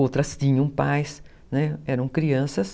Outras tinham pais, né, eram crianças.